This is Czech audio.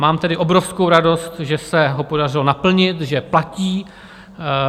Mám tedy obrovskou radost, že se ho podařilo naplnit, že platí.